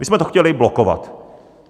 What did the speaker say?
My jsme to chtěli blokovat.